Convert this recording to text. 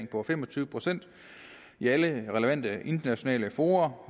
på fem og tyve procent i alle relevante internationale fora